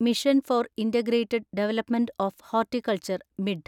mission for integrated development of horticulture (mid)